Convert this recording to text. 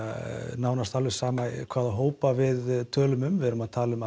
nánast alveg sama hvaða hópa við tölum um við erum að tala um